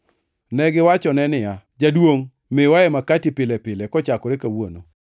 Negiwachone niya, “Jaduongʼ, miwae makati pile pile kochakore kawuono.”